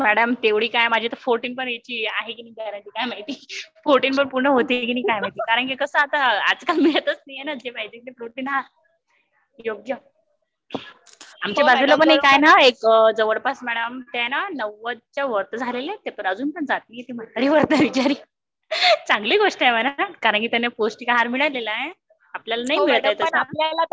madam, आता तेव्हडी काय माझी तर फॉर्टी पण एज ची गॅरंटी नाही माहिती फोर्टी पण पूर्ण होइल कि नाही काय माहिती कारण की कस आता आजकाल मिळतच नाही न जे हाव ते प्रोटीन आहार योग्य, आमच्या अबाजूला ला ना ते नजवळपास व्हद च्या आसपास झालेला ना LAGUTING कारण त्यांना पौस्टिक आहार मिळालेला आहे आपल्याला नाही मिळत आहे तसा